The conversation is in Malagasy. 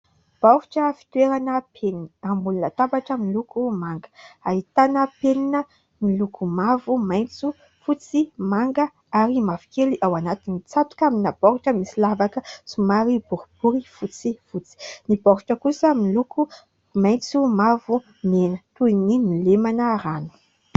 Baoritra fitoerana penina. Ambony latabatra miloko manga. Ahitana penina miloko mavo, maintso, fotsy, manga, ary mavokely ao anatiny. Mitsatoka amina baoritra misy lavaka somary boribory fotsifotsy. Ny baoritra kosa miloko maintso, mavo, mena ; toy ny nolemana rano.